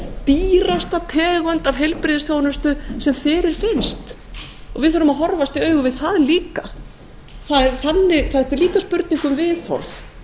dýrasta tegund af heilbrigðisþjónustu sem fyrirfinnst við þurfum að horfast í augu við það líka þetta er líka spurning um viðhorf